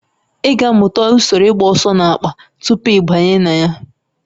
Ị ga-amụta usoro ịgba ọsọ n'akpa tupu ị banye na ya